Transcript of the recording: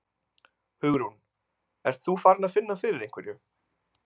Hugrún: Ert þú farin að finna fyrir einhverju?